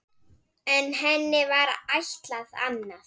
En henni var ætlað annað.